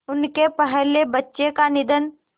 उनके पहले बच्चे का निधन